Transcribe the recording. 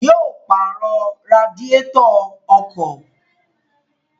Yóò pàrọ̀ radiétọ̀ ọkọ̀